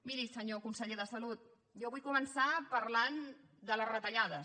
miri senyor conseller de salut jo vull començar parlant de les retallades